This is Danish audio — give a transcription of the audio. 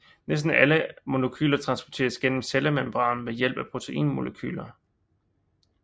Næsten alle andre molekyler transporteres gennem cellemembranen ved hjælp af proteinmolekyler